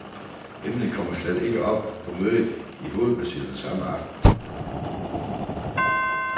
Emnet kommer slet ikke op på mødet i hovedbestyrelsen samme aften.